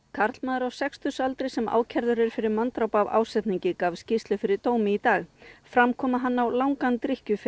karlmaður á sextugsaldri sem ákærður er fyrir manndráp af ásetningi gaf skýrslu fyrir dómi í dag fram kom að hann á langan